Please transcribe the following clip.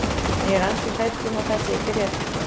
En ég er ansi hrædd um að það sé ekki rétt.